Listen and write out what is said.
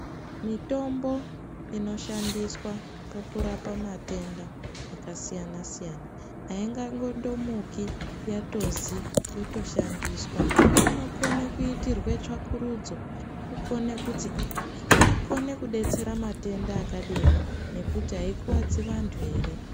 Mitombo inoshandiswa pakurapa matenda akasiyana-siyana, haingangondomuki yatozi yotoshandiswa. Inokone kuitirwe tsvakurudzo, kukone kuti kukone kudetsera matenda akadini nekuti haikuwadzi vantu here.